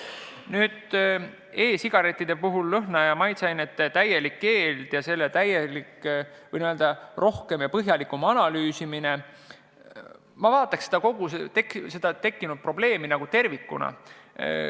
Mis puutub e-sigarettide puhul lõhna- ja maitseainete täielikku keeldu, siis võin öelda, et analüüsiks kogu seda tekkinud probleemi tervikuna.